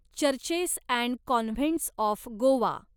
churches and convents of Goa